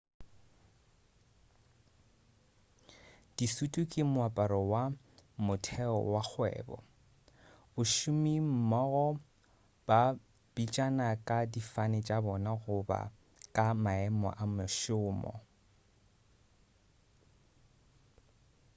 disutu ke moaparo wa motheo wa kgwebo bašomimmogo ba bitšana ka difane tša bona goba ka maemo a mešomo